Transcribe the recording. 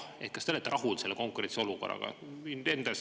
Ehk kas te olete rahul selle konkurentsiolukorraga?